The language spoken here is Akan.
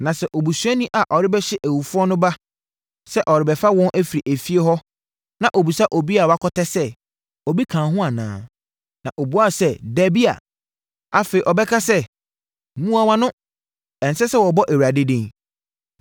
Na sɛ obusuani a ɔrebɛhye awufoɔ no ba sɛ ɔrebɛfa wɔn afiri efie hɔ na ɔbisa obi a wakɔtɛ sɛ, “Obi ka wo ho anaa?” Na ɔbuaa sɛ, “Dabi” a, afei ɔbɛka sɛ, “Mua wʼano!” Ɛnsɛ sɛ wɔbɔ Awurade din.